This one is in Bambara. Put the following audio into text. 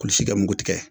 Kulisi kɛ nugu tigɛ